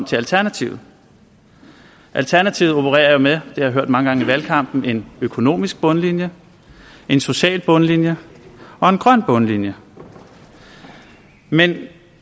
til alternativet alternativet opererer jo med det jeg hørt mange gange i valgkampen en økonomisk bundlinje en social bundlinje og en grøn bundlinje men